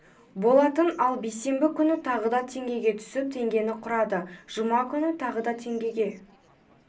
болатын ал бейсенбі күні тағы да теңгеге түсіп теңгені құрады жұма күні тағы да теңгеге